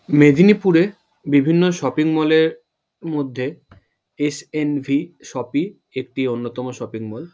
মেদিনীপুরে বিভিন্ন shopping mall -এর মধ্যে এস.এন.ভি. শপি একটি অন্যতম শপিং মল ।